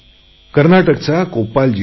कर्नाटकचा कोप्पाल जिल्हा